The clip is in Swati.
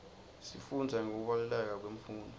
sifundza ngekubaluleka kwemfundvo